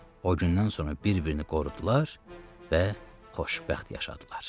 O gündən sonra bir-birini qorudular və xoşbəxt yaşadılar.